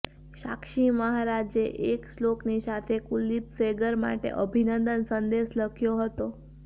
સાક્ષી મહારાજે એક શ્લોકની સાથે કુલદીપ સેંગર માટે અભિનંદન સંદેશ લખ્યો હતો